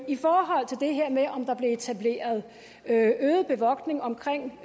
i forhold til det her med om der blev etableret øget bevogtning omkring